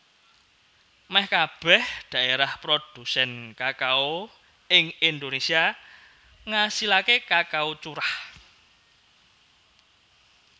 Mèh kabèh dhaérah prodhusèn kakao ing Indonésia ngasilaké kakao curah